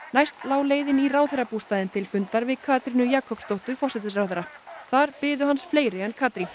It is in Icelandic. næst lá leiðin í ráðherrabústaðinn til fundar við Katrínu Jakobsdóttur forsætisráðherra þar biðu hans fleiri en Katrín